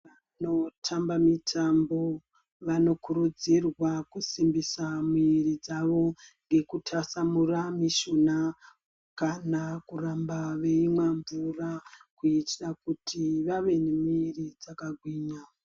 Vanotamba mitambo vanokurudzirwa kusimbisa miri dzavo ngekutasamura mushuna kana kuramba veimwa mvura kuitira kuti vave nemiri dzakagwinya.